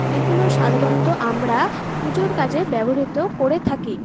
এগুলো সাধারণত আমরা পুজোর কাজে ব্যবহৃত করে থাকি।